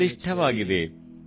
Ganga Yamuna Krishna Kaveri